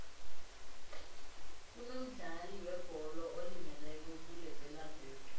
kunomdlali webholo olimeleko kulepelaveke